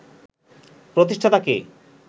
প্রতিষ্ঠাতা কে